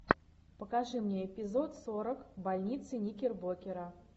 покажи мне эпизод сорок больница никербокера